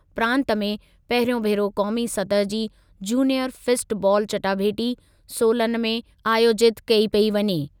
प्रांत में पहिरियों भेरो क़ौमी सतहि जी जूनियर फिस्ट बालु चटाभेटी सोलन में आयोजितु कई पेई वञे।